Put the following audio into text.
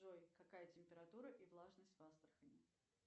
джой какая температура и влажность в астрахани